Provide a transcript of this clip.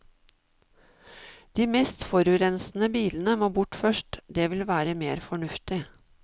De mest forurensende bilene må bort først, det vil være mer fornuftig.